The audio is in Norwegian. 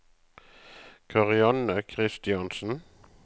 Karianne Kristiansen